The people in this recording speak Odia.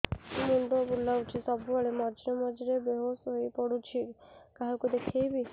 ମୁଣ୍ଡ ବୁଲାଉଛି ସବୁବେଳେ ମଝିରେ ମଝିରେ ବେହୋସ ହେଇ ପଡିଯାଉଛି କାହାକୁ ଦେଖେଇବି